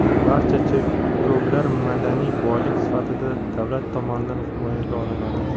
barcha cherkovlar madaniy boylik sifatida davlat tomonidan himoyaga olinadi..